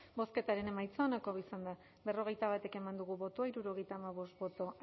bozketaren emaitza onako izan da berrogeita bat eman dugu bozka hirurogeita hamabost boto